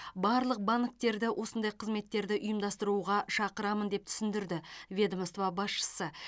барлық банктерді осындай қызметтерді ұйымдастыруға шақырамын деп түсіндірді ведомство басшысы